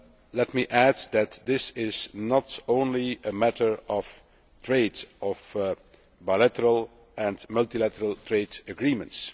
Let me add that this is not only a matter of trade, or of bilateral and multilateral trade agreements.